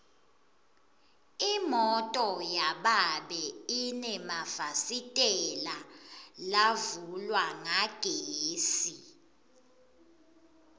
imoto yababe inemafasitela lavulwa ngagesi